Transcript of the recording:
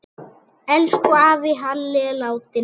Elsku afi Halli er látinn.